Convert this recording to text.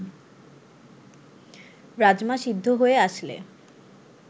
রাজমা সিদ্ধ হয়ে আসলে